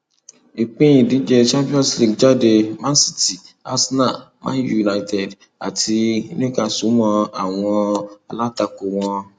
ìpín ìdíje champions league jáde man city arsenal man utd àti newcastle mọ àwọn alátakò wọn